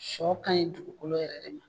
Sɔ ka ɲi dugukolo yɛrɛ de ma.